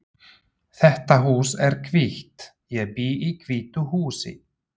Þetta hús er hvítt. Ég bý í hvítu húsi.